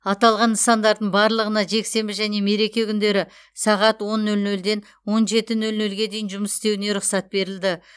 аталған нысандардың барлығына жексенбі және мереке күндері сағат он нөл нөлден он жеті нөл нөлге дейін жұмыс істеуіне рұқсат берілді